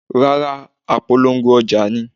Rárá, apolongo ọjà ni.